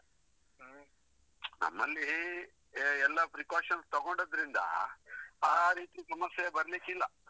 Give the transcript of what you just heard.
ಹ್ಮ್ ನಮ್ಮಲ್ಲಿ ಎಲ್ಲ precautions ತಗೊಂಡದ್ರಿಂದ ಆ ರೀತಿ ಸಮಸ್ಯೆ ಬರ್ಲಿಕ್ಕಿಲ್ಲ.